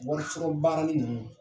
wɔri sɔrɔ baarali ninnu